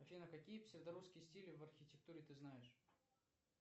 афина какие псевдорусские стили в архитектуре ты знаешь